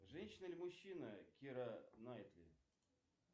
женщина или мужчина кира найтли